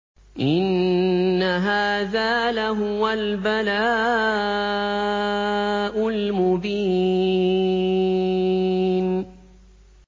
إِنَّ هَٰذَا لَهُوَ الْبَلَاءُ الْمُبِينُ